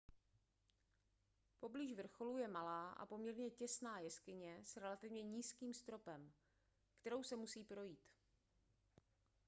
poblíž vrcholu je malá a poměrně těsná jeskyně s relativně nízkým stropem kterou se musí projít